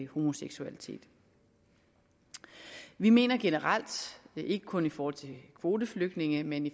homoseksualitet vi mener generelt og ikke kun i forhold til kvoteflygtninge men i